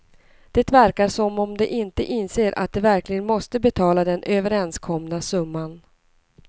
Det verkar som om de inte inser att de verkligen måste betala den överenskomna summa.